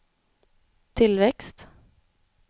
tillväxt